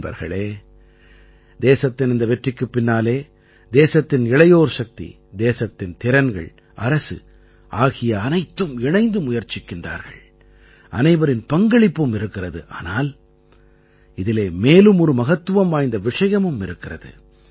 நண்பர்களே தேசத்தின் இந்த வெற்றிக்குப் பின்னாலே தேசத்தின் இளையோர் சக்தி தேசத்தின் திறன்கள் அரசு ஆகிய அனைத்தும் இணைந்து முயற்சிக்கிறார்கள் அனைவரின் பங்களிப்பும் இருக்கிறது ஆனால் இதிலே மேலும் ஒரு மகத்துவம் வாய்ந்த விஷயமும் இருக்கிறது